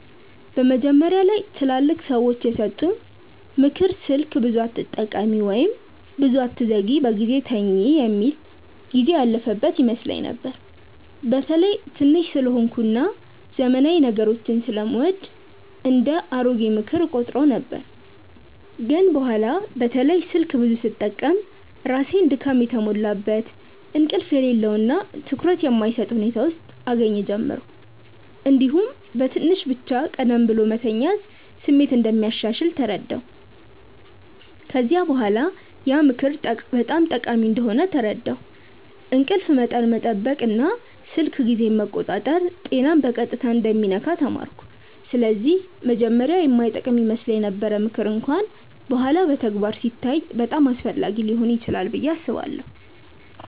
መጀመሪያ ላይ ትላልቅ ሰዎች የሰጡኝ “ምክር ስልክ ብዙ አትጠቀሚ” ወይም “ብዙ አትዘግይ በጊዜ ተኝ” የሚል ጊዜው ያለፈበት ይመስለኝ ነበር። በተለይ ትንሽ ስለሆንኩ እና ዘመናዊ ነገሮችን ስለምወድ እንደ “አሮጌ ምክር” እቆጥረው ነበር። ግን በኋላ በተለይ ስልክ ብዙ ስጠቀም ራሴን ድካም የተሞላበት፣ እንቅልፍ የሌለው እና ትኩረት የማይሰጥ ሁኔታ ውስጥ እገኛ ጀመርሁ። እንዲሁም በትንሽ ብቻ ቀደም ብሎ መተኛት ስሜት እንደሚያሻሽል ተረዳሁ። ከዚያ በኋላ ያ ምክር በጣም ጠቃሚ እንደሆነ ተረዳሁ፤ እንቅልፍ መጠን መጠበቅ እና ስልክ ጊዜን መቆጣጠር ጤናን በቀጥታ እንደሚነካ ተማርኩ። ስለዚህ መጀመሪያ የማይጠቅም ይመስለው ምክር እንኳን በኋላ በተግባር ሲታይ በጣም አስፈላጊ ሊሆን ይችላል ብዬ አስባለሁ።